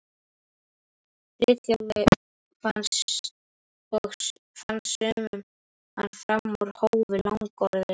Friðþjófi og fannst sumum hann fram úr hófi langorður.